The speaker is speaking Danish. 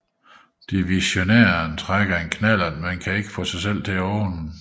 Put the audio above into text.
Divissionæren trækker en knallert men kan ikke få sig selv til at åbne den